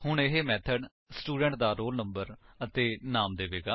ਹੁਣ ਇਹ method student ਦਾ ਰੋਲ ਨੰਬਰ ਅਤੇ ਨਾਮ ਦੇਵੇਗਾ